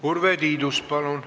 Urve Tiidus, palun!